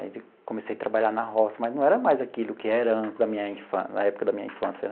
Comecei a trabalhar na roça, mas não era mais aquilo que era antes, da minha infância na época da minha infância.